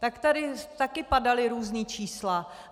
Tak tady taky padala různá čísla.